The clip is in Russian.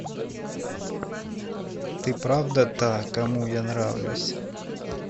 ты правда та кому я нравлюсь